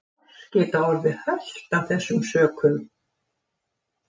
Hross geta orðið hölt af þessum sökum.